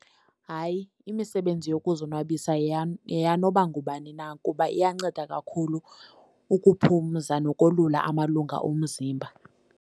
Hayi, imisebenzi yokuzonwabisa yeyanoba ngubani na kuba iyanceda kakhulu ukuphumza nokolula amalunga omzimba.